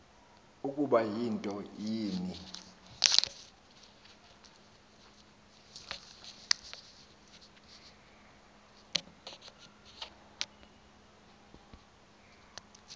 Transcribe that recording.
ukuba yinto ni